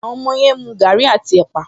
Àwọn ọmọ yẹn ń mu gaàrí àti ẹ̀pà